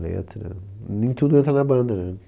Letra, nem tudo entra na banda, né?